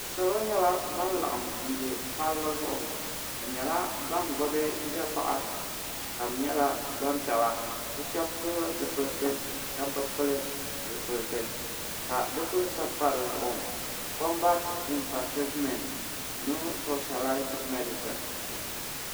salo nyɛla ban laɣam bɛ palli zuɣu bi nyɛla ban gbubi dapaɣa ka di nyɛla gbanpiɛla bi shab pili zipiliti shab bi pili zipiliti ka di kuli sabi pa dizuɣu kombat infatiritmɛnt no spɛshɛlaiz mɛdisin